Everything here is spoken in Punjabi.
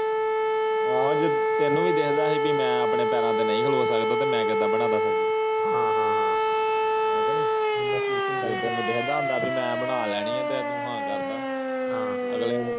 ਏਹੋ ਤੈਨੂੰ ਵੀ ਦਿਸਦਾ ਸੀ ਵੇ ਮੈਂ ਆਪਣੇ ਪੈਰਾਂ ਤੇ ਨਹੀਂ ਕੜੋ ਸਕਦਾ ਮੈਂ ਕਿਦਾਂ ਬਣਾ ਦਾ ਸਬਜ਼ੀ ਹਨ ਹਨ ਹਨ ਹੈ ਕਿ ਨੀ ਜੇ ਤੈਨੂੰ ਦਿਖਦਾ ਹੋਂਦਾ ਭੀ ਮੈਂ ਬਣਾ ਲੈਣੀ ਹੈ ਤੇ ਹੂ ਹਨ ਕਰਦਾ